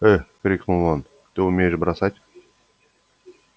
ээ крикнул он ты умеешь бросать